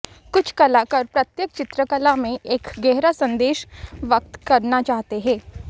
कुछ कलाकार प्रत्येक चित्रकला में एक गहरा संदेश व्यक्त करना चाहते हैं